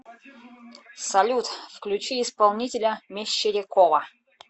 салют включи исполнителя мещерякова